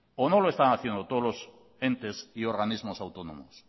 o no lo están haciendo todos entes y organismos autónomos